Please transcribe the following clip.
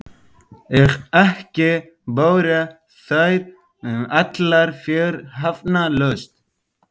Og ekki báru þær allar fyrirhafnarlaust.